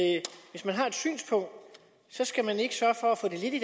hvis man har et synspunkt skal man ikke sørge for at få det lidt i